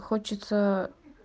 хочется